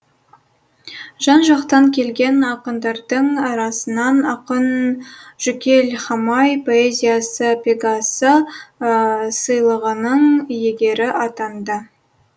жан жақтан келген ақындардың арасынан ақын жүкел хамай поэзиясы пегасы сыйлығының иегері атанды